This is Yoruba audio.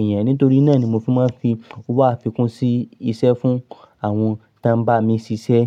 èèyàn. Nítorí náà ni mo fi máa ń fi owó àfikún sí isẹ́ fún àwọn tí ń bá mi ṣiṣẹ́.